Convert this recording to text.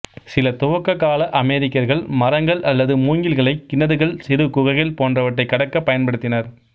சில துவக்கக்கால அமெரிக்கர்கள் மரங்கள் அல்லது மூங்கில்களை கிணறுகள் சிறு குகைகள் போன்றவற்றை கடக்க பயன்படுத்தினர்